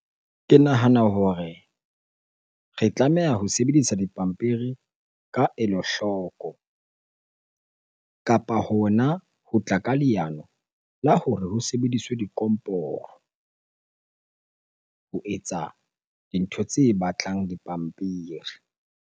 Ke nahana hore re tlameha ho sebedisa dipampiri ka elo hloko kapa hona ho tla ka leano la hore ho sebediswe dikomporo ho etsa dintho tse batlang dipampiri.